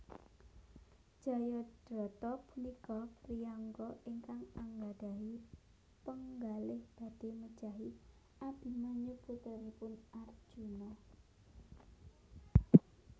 Jayadrata punika priyangga ingkang anggadhahi penggalih badhé mejahi Abimanyu putranipun Arjuna